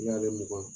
N'i y'ale mugan